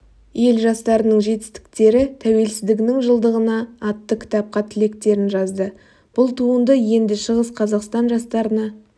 ел жастарының жетістіктері тәуелсіздігінің жылдығына атты кітапқа тілектерін жазды бұл туынды енді шығыс қазақстан жастарына